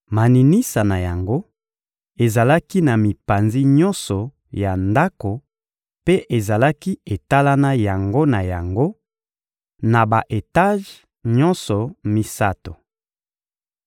Maninisa na yango ezalaki na mipanzi nyonso ya ndako mpe ezalaki etalana yango na yango, na ba-etaje nyonso misato.